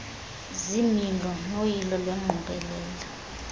ziimilo noyilo lwengqokelela